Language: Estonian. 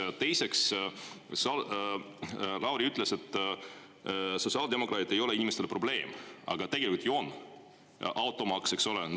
Ja teiseks, Lauri ütles, et sotsiaaldemokraadid ei ole inimestele probleem, aga tegelikult ju on: automaks, eks ole.